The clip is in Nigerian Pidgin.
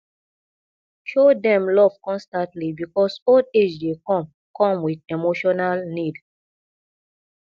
show dem love constantly because old age dey come come with emotional need